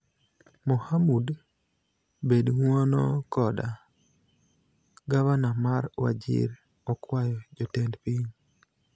Mohamud: Bed ng'uono koda, Gavana mar Wajir okwayo jotend piny